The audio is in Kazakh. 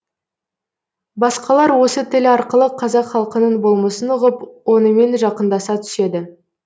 басқалар осы тіл арқылы қазақ халқының болмысын ұғып онымен жақындаса түседі